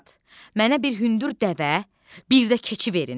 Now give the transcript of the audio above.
Camaat, mənə bir hündür dəvə, bir də keçi verin.